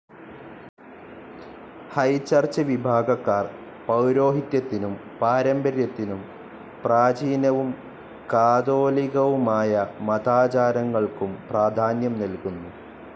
High Church വിഭാഗക്കാർ പൗരോഹിത്യത്തിനും പാരമ്പര്യത്തിനും പ്രാചീനവും കാതോലികവുമായ മതാചാരങ്ങൾക്കും പ്രാധാന്യം നൽകുന്നു.